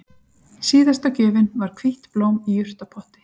Síðasta gjöfin var hvítt blóm í jurtapotti